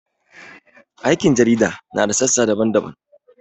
Aikin jarida na da sassa daban-daban.